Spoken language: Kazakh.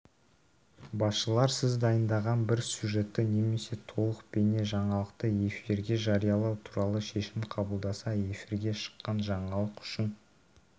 басшылар сіз дайындаған бір сюжетті немесе толық бейне жаңалықты эфирге жариялау туралы шешім қабылдаса эфирге шыққан жаңалық үшін